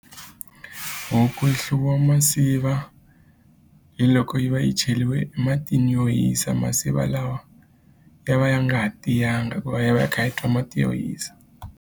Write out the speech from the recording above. Huku yi hluviwa masiva hi loko yi va yi cheriwe matini yo hisa masiva lawa ya va ya nga ha tiyanga hikuva ya va ya kha ya twa mati yo hisa.